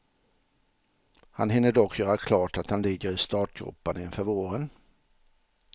Han hinner dock göra klart att han ligger i startgroparna inför våren.